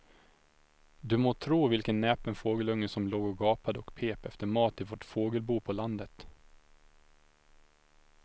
Du må tro vilken näpen fågelunge som låg och gapade och pep efter mat i vårt fågelbo på landet.